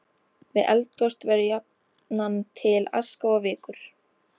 Við eldgos verður jafnan til aska og vikur.